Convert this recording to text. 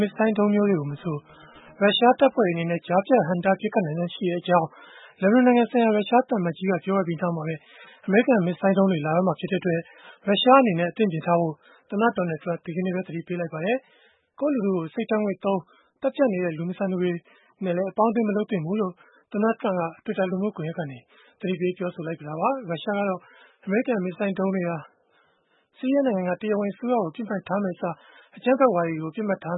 မစ်ဇိုင်းဒုံးမျိုးကိုမဆို ရုရှားတပ်ဖွဲ့တွေ အနေနဲ့ ကြားဖြတ်ဟန့်တားပစ်ခတ်နိုင်စွမ်းရှိကြောင်း လက်ဘနွန်နိုင်ငံဆိုင်ရာ ရုရှားသံအမတ်ကြီးက ပြောဆိုခဲ့ပြီး နောက်မှာပဲ အမေရိကန် မစ်ဇိုင်းဒုံးတွေ လာတော့မှာဖြစ်တဲ့အတွက် ရုရှားအနေနဲ့ အသင့်ပြင်ထားဖို့ သမ္မတ Donald Trump က ဒီနေ့ပဲ သတိပေးလိုက်ပါတယ်။ ကိုယ့်လူထုကို အဆိပ်ဓာတ်ငွေ့သုံး သတ်ဖြတ်နေတဲ့ လူမဆန်သူတွေနဲ့ အပေါင်းအသင်း မလုပ်သင့်ဘူးလို့လည်း သမ္မတ Trump က Twitter လူမှုကွန်ယက်ကနေ ပြောဆိုလိုက်တာပါ။ ရုရှားကတော့ အမေရိကန် မစ်ဇိုင်းဒုံးတွေဟာ ဆီးရီးယားနိုင်ငံက တရားဝင်အစိုးရကို ပစ်မှတ်ထားမယ့်အစား၊ အကြမ်းဖက်ဝါဒီတွေကို ပစ်မှတ်ထား